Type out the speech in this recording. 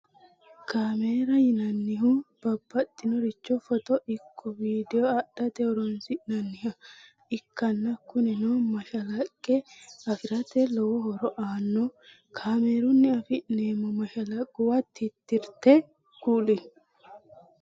Kamera yinannihu babaxinoricho foto ikko vidio adhate horonsi'nanniha ikkanna kunino mashalaqqe afirate lowo horo aanno kamerunni afi'nemmo mashalaqquwa titirte kuli?